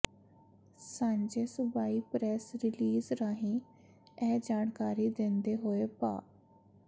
ਸਾਂਝੇ ਸੂਬਾਈ press release ਰਾਹੀਂ ਇਹ ਜਾਣਕਾਰੀ ਦਿੰਦੇ ਹੋਏ ਭਾ